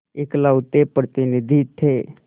इकलौते प्रतिनिधि थे